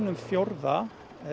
um fjórðungs